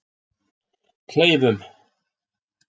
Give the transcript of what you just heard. Kleifum